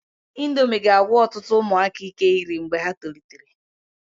Indomi ga-agwụ ọtụtụ ụmụaka ike iri mgbe ha tolitere.